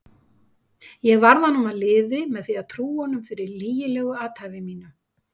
Ég varð honum að liði með því að trúa honum fyrir lygilegu athæfi mínu.